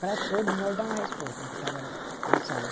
Para todos nós dar uma resposta né, que estava na sala.